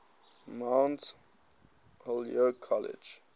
mount holyoke college